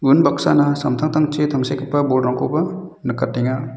unbaksana samtangtangchi tangsekgipa bolrangkoba nikatenga.